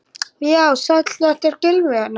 Já, sæll, þetta er Gylfi hérna.